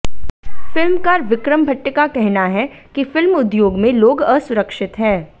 फिल्मकार विक्रम भट्ट का कहना है कि फिल्म उद्योग में लोग असुरिक्षत हैं